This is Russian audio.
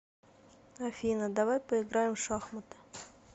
афина давай поиграем в шахматы